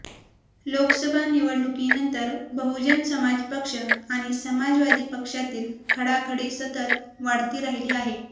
लोकसभा निवडणुकीनंतर बहुजन समाज पक्ष आणि समाजवादी पक्षातील खडाखडीसतत वाढती राहिली आहे